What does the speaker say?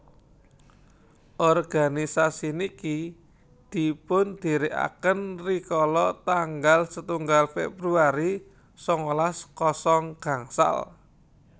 organisasi niki dipundhirikaken rikala tanggal setunggal Februari sangalas kosong gangsal